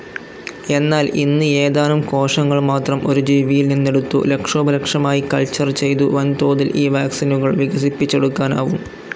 എന്നാൽ ഇന്ന് ഏതാനും കോശങ്ങൾ മാത്രം ഒരു ജീവിയിൽ നിന്നെടുത്തു ലക്ഷോപലക്ഷമായി കൾച്ചർ ചെയ്തു വൻതോതിൽ ഈ വാക്സിനുകൾ വികസിപ്പിചെടുക്കാനാവും.